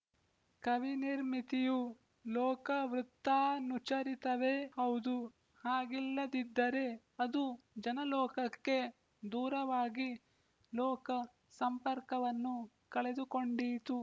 ಕವಿನಿರ್ಮಿತಿಯು ಲೋಕವೃತ್ತಾನುಚರಿತವೇ ಹೌದು ಹಾಗಿಲ್ಲದಿದ್ದರೆ ಅದು ಜನಲೋಕಕ್ಕೆ ದೂರವಾಗಿ ಲೋಕ ಸಂಪರ್ಕವನ್ನು ಕಳೆದುಕೊಂಡೀತು